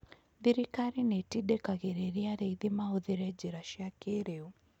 Thirikari nĩ ĩtindĩkagĩrĩria arĩithi mahũthĩre njĩra cia kĩĩrĩu.